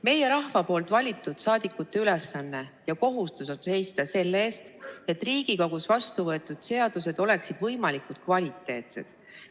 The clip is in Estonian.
Meie, rahva valitud saadikute ülesanne ja kohustus on seista selle eest, et Riigikogus vastuvõetud seadused oleksid võimalikult kvaliteetsed.